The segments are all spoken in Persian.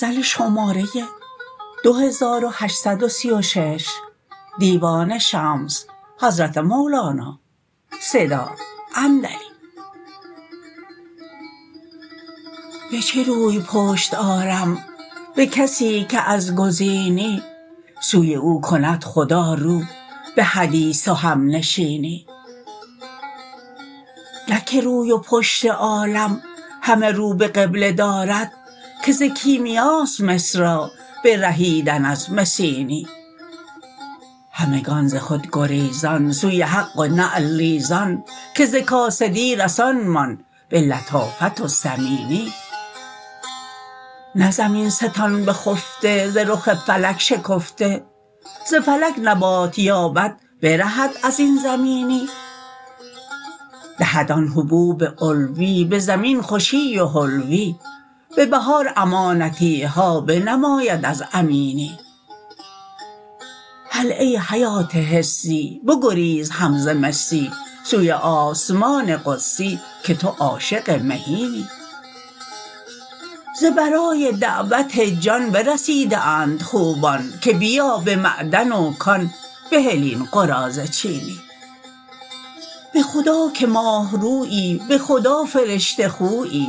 به چه روی پشت آرم به کسی که از گزینی سوی او کند خدا رو به حدیث و همنشینی نه که روی و پشت عالم همه رو به قبله دارد که ز کیمیاست مس را برهیدن از مسینی همگان ز خود گریزان سوی حق و نعل ریزان که ز کاسدی رسانمان به لطافت و ثمینی نه زمین ستان بخفته ز رخ فلک شکفته ز فلک نبات یابد برهد از این زمینی دهد آن حبوب علوی به زمین خوشی و حلوی به بهار امانتی ها بنماید از امینی هله ای حیات حسی بگریز هم ز مسی سوی آسمان قدسی که تو عاشق مهینی ز برای دعوت جان برسیده اند خوبان که بیا به معدن و کان بهل این قراضه چینی به خدا که ماه رویی به خدا فرشته خویی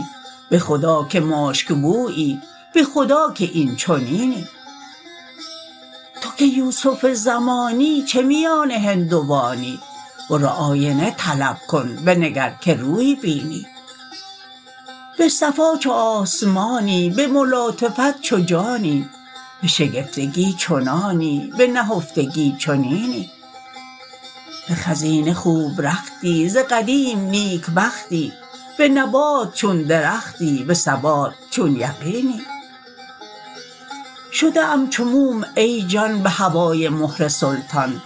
به خدا که مشک بویی به خدا که این چنینی تو که یوسف زمانی چه میان هندوانی برو آینه طلب کن بنگر که روی بینی به صفا چو آسمانی به ملاطفت چو جانی به شکفتگی چنانی به نهفتگی چنینی به خزینه خوب رختی ز قدیم نیکبختی به نبات چون درختی به ثبات چون یقینی شده ام چو موم ای جان به هوای مهر سلطان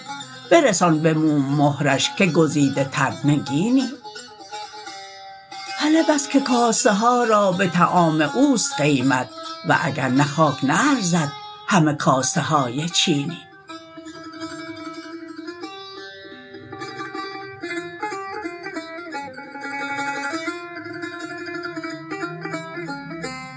برسان به موم مهرش که گزیده تر نگینی هله بس که کاسه ها را به طعام او است قیمت و اگر نه خاک نه ارزد همه کاسه های چینی